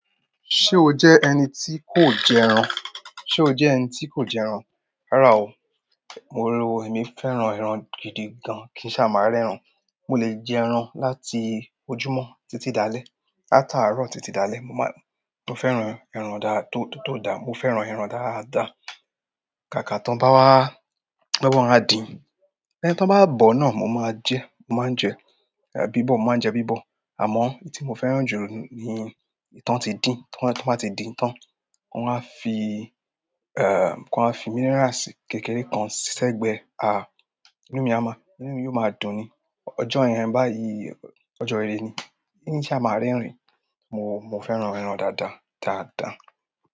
Ṣé o jẹ́ ẹni tí kò jẹ ẹran? Ṣé o jẹ́ ẹni tí kò jẹ ẹran? Rárá o, mo rò wípé mi o fẹ́ran ẹran gidi gan kin ṣa máa rẹ ẹran. Mo le jẹ ẹran láti ojúmọ́ títí dalẹ, ata àárọ̀ títí dalẹ. Mo fẹ́ran ẹran tó dá, mo fẹ́ran ẹran dáadáa. Kàkà tán bá wá, bá wọ́n á din, ẹni tán bá bọ̀ náà mo máa jẹ, mo máa ń jẹ bíbọ̀, mo máa ń jẹ bíbọ̀. Àmọ́, èyí tí mo fẹ́ran jù ni, ìtán tí din, tí wọ́n bá ti din tán, wọ́n á fi, wọ́n á fi minerals kékeré kan sí sẹ́gbẹ́ e, inú mi á mọ́, inú mi yóò máa dùn ni. Ọjọ́ yẹń báyìí, ọjọ́ ìrẹ́ ni. Kin sa máa rẹ́ rìn, mo, mo fẹ́ran ẹran dáadáa, dáadáa.